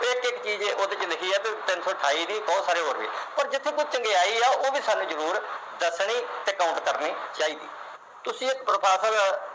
ਇਕ ਇਕ ਚੀਜ ਉਹਦੇ ਵਿਚ ਲਿਖੀ ਦੀ ਆ ਤੇ ਤਿੰਨ ਸੌ ਅਠਾਈ ਨੀ ਹੋਰ ਵੀ ਬਹੁਤ ਸਾਰੇ ਜਿਥੋਂ ਤੱਕ ਚੰਗਿਆਈ ਆ ਉਹ ਵੀ ਸਾਨੂੂੰ ਜਰੂਰ ਦੱਸਣੀ ਤੇ count ਕਰਨੀ ਚਾਹੀਦੀ ਤੁਸੀ ਇਕ